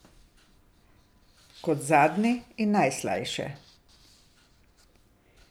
Kot zadnji in najslajše.